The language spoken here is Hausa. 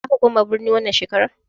Zaka koma birni wannan shekarar?